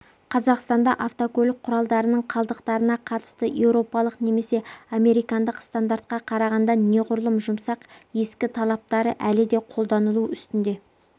қазақстанда автокөлік құралдарының қалдықтарына қатысты еуропалық немесе американдық стандарттарға қарағанда неғұрлым жұмсақ ескі талаптары әлі де қолданылу үстінде